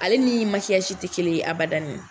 Ale ni makiyasi tɛ kelen ye abada .